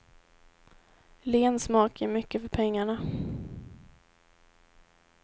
Len smak, ger mycket för pengarna.